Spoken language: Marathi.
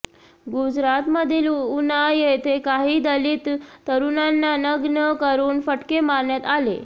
गुजरातमधील उना येथे काही दलित तरुणांना नग्न करून फटके मारण्यात आले